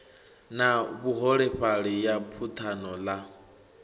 na vhuholefhali ya buthano ḽa